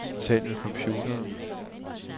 Tal med computeren.